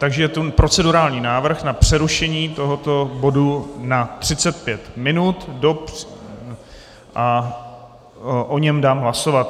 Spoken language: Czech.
Takže je tu procedurální návrh na přerušení tohoto bodu na 35 minut a o něm dám hlasovat.